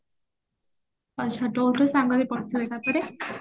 ଆଚ୍ଛା ସାଙ୍ଗ ହେଇ ପଢୁଥିବେ ତାପରେ